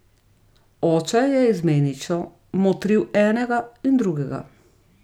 Oče je izmenično motril enega in drugega.